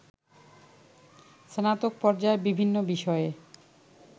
স্নাতক পর্যায়ে বিভিন্ন বিষয়ে